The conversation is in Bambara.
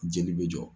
Jeli bɛ jɔ